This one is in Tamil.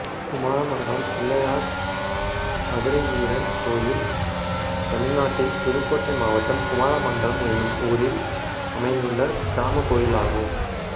குமாரமங்கலம் பிள்ளையார் மதுரைவீரன் கோயில் தமிழ்நாட்டில் புதுக்கோட்டை மாவட்டம் குமாரமங்கலம் என்னும் ஊரில் அமைந்துள்ள கிராமக் கோயிலாகும்